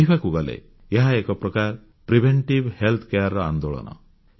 କହିବାକୁ ଗଲେ ଏହା ଏକ ପ୍ରକାର ପ୍ରିଭେଣ୍ଟିଭ୍ ହେଲ୍ଥ କେୟାର ଆନ୍ଦୋଳନ